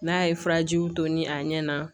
N'a ye furajiw to ni a ɲɛ na